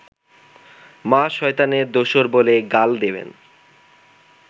মা শয়তানের দোসর বলে গাল দেবেন